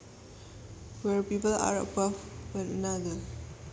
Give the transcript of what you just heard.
where people are above one another